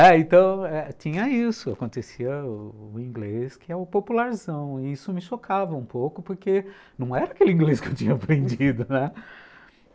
Eh, então, tinha isso, acontecia o o inglês, que é o popularzão, e isso me chocava um pouco, porque não era aquele inglês que eu tinha aprendido, né?